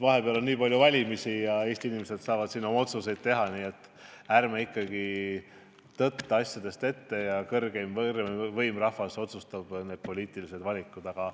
Vahepeal on mitmed valimised ja Eesti inimesed saavad seal oma otsuseid teha, nii et ärme tõttame asjadest ette ja laseme kõrgeimal võimul, rahval, need poliitilised valikud teha.